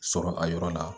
Sɔrɔ a yɔrɔ la